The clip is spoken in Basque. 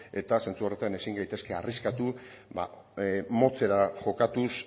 eta sentsu horretan ezin gaitezke arriskatu motxera jokatuz